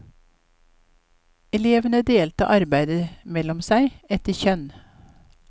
Elevene delte arbeidet mellom seg etter kjønn.